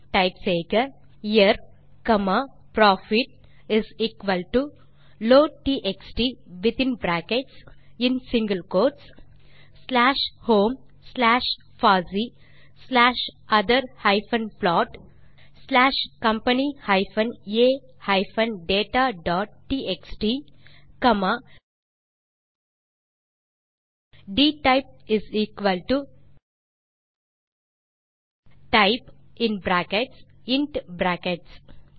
type செய்க year profit loadtxt within bracket in single quote slash home slash பாசி slash other plot slash company a dataடிஎக்ஸ்டி comma dtypetype in bracket int